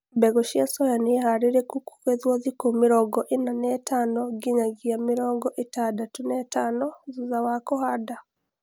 mbegũ cia soya ni harĩlĩku kũgethwo thikũ mĩrongo ĩna na ithano nginyangia mĩrongo ĩtandatũ na ithano thutha wa kũhanda